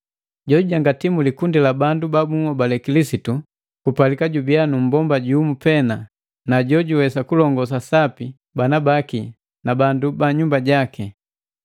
Jojujangati mu kikundi sa bandu babuhobale Kilisitu kupalika jubiya nu mmbomba jumu pena, na jojuwesa kulongosa sapi bana baki na bandu bu nyumba jaki.